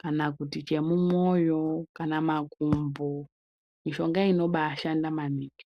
kana kuti chemu mwoyo kana makumbo mishonga inobai shanda maningi.